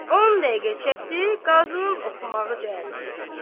10 dəqiqə çəkdi, qazının oxumağı cəmisisi.